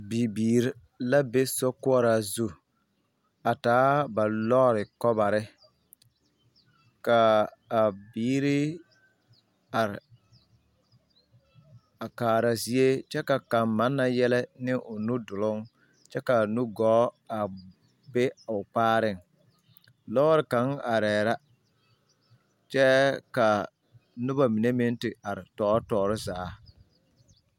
Bibiiri la be koɔraa zu a taa ba lɔɔre kobare ka a biiri are a kaara zie kyɛ ka kaŋ manna yɛlɛ ne o nu duluŋ kyɛ ka a nu gɔɔ be o kpaareŋ lɔɔre kaŋ arɛɛ la kyɛ ka noba mine meŋ te are tɔɔre zaa.